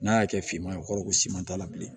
N'a y'a kɛ finman ye o kɔrɔ ko siman t'a la bilen